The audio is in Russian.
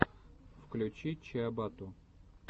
включи чиабатту